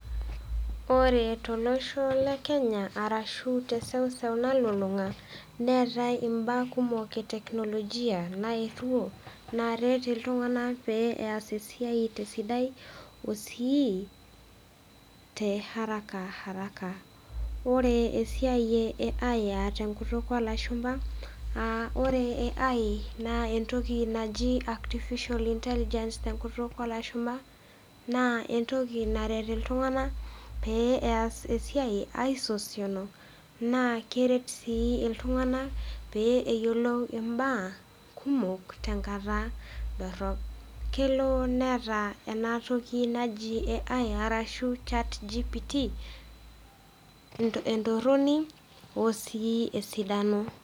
Ore tolosho le Kenya ashu te eseuseu nalulung'a neatai imbaa kumok e teknolojia naetuo, naaret iltung'ana peyie eas esiai te esidai o sii te harakaharaka. Ore esiai e AI aa tenkutuk oo lashumba aa ore AI naa entoki naji Artificial Inteligence te enkutuk oo lashumba naa entoki naret iltung'ana pee eret esiai aisosionu naa keret sii iltung'ana pee eyolou imbaa kumok, tenkata dorop. Kelo neata ena toki naji AI arashu chatgpt entoroni o sii esidano.